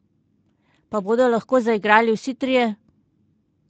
Pa bodo lahko zaigrali vsi trije?